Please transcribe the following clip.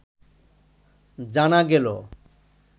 জানা গেল